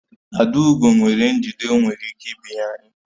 Adaugo nwere njide o nwere ike binye anyị